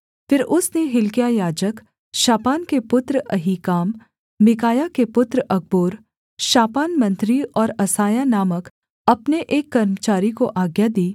फिर उसने हिल्किय्याह याजक शापान के पुत्र अहीकाम मीकायाह के पुत्र अकबोर शापान मंत्री और असायाह नामक अपने एक कर्मचारी को आज्ञा दी